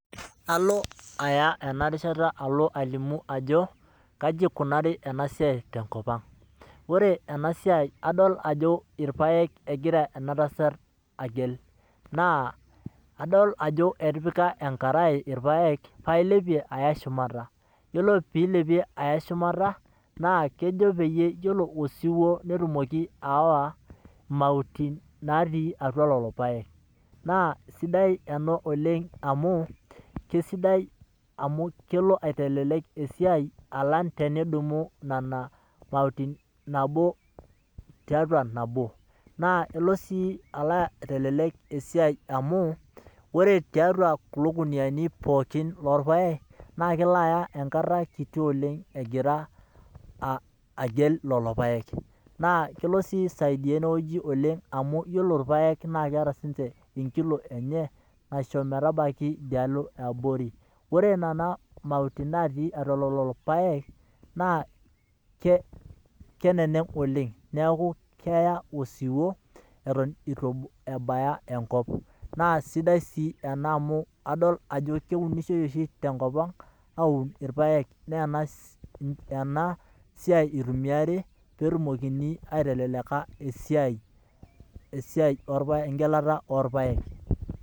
Ore ena siai enikunari te nkop naa kadol ninye ajo irpaek egelita ina pee egira ailepie enkkai pee eya osiuo suut. Na keya erishat dorop tenitumia ina oitoi amu irpaek otoito neaku keitasioyo osiuo suut.